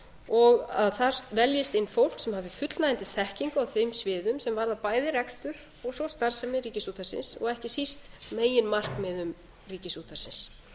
og að þar veljist inn fólk sem hafi fullnægjandi þekkingu á þeim sviðum sem varða bæði rekstur og svo starfsemi ríkisútvarpsins og ekki síst meginmarkmiðum ríkisútvarpsins